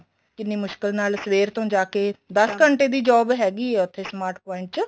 ਕਿੰਨੀ ਮੁਸ਼ਕਿਲ ਨਾਲ ਸਵੇਰ ਤੋਂ ਜਾਂ ਕੇ ਦਸ ਘੰਟੇ ਦੀ job ਹੈਗੀ ਏ ਉੱਥੇ smart point ਚ